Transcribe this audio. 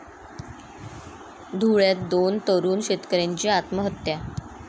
धुळ्यात दोन तरुण शेतकऱ्यांची आत्महत्या